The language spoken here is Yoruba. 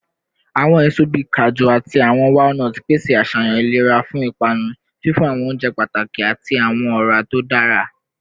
Awọn eso bii kaju ati awọn walnuts pese aṣayan ilera fun ipanu, fifun awọn ounjẹ pataki ati awọn ọra to dara